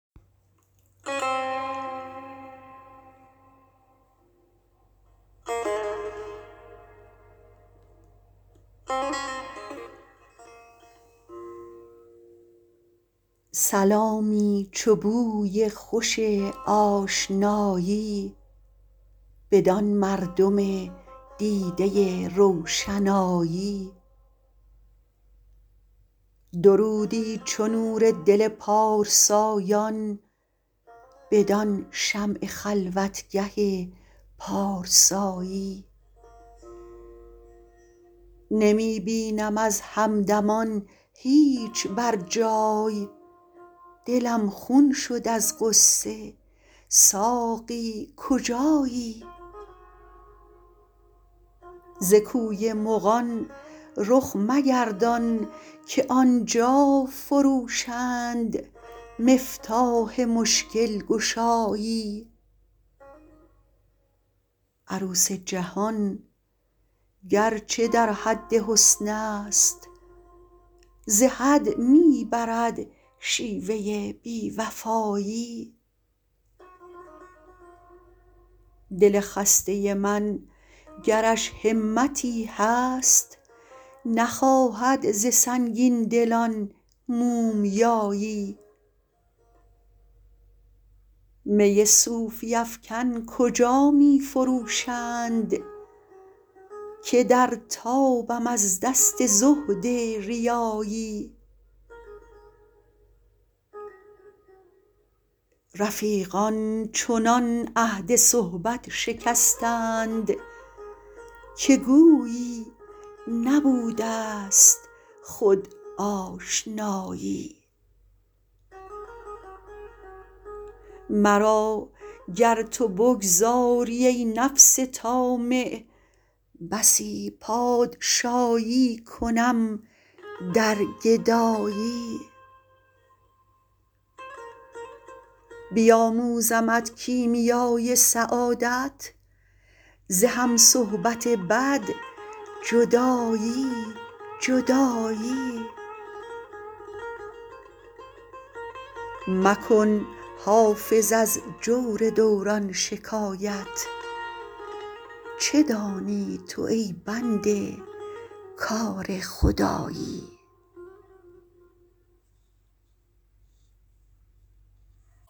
سلامی چو بوی خوش آشنایی بدان مردم دیده روشنایی درودی چو نور دل پارسایان بدان شمع خلوتگه پارسایی نمی بینم از همدمان هیچ بر جای دلم خون شد از غصه ساقی کجایی ز کوی مغان رخ مگردان که آن جا فروشند مفتاح مشکل گشایی عروس جهان گر چه در حد حسن است ز حد می برد شیوه بی وفایی دل خسته من گرش همتی هست نخواهد ز سنگین دلان مومیایی می صوفی افکن کجا می فروشند که در تابم از دست زهد ریایی رفیقان چنان عهد صحبت شکستند که گویی نبوده ست خود آشنایی مرا گر تو بگذاری, ای نفس طامع بسی پادشایی کنم در گدایی بیاموزمت کیمیای سعادت ز هم صحبت بد جدایی جدایی مکن حافظ از جور دوران شکایت چه دانی تو ای بنده کار خدایی